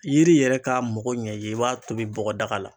Yiri yɛrɛ ka mɔgɔ ɲɛ i ye i b'a tobi bɔgɔdaga la